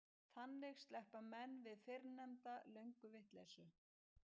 Þannig sleppa menn við fyrrnefnda lönguvitleysu.